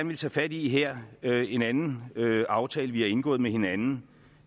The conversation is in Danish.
ville tage fat i her er en anden aftale vi har indgået med hinanden